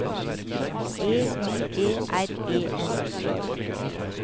E I E R E N